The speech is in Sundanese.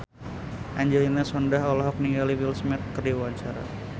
Angelina Sondakh olohok ningali Will Smith keur diwawancara